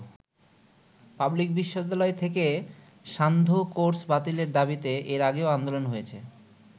Public বিশ্ববিদ্যালয় থেকে সান্ধ্য কোর্স বাতিলের দাবীতে এর আগেও আন্দোলন হয়েছে।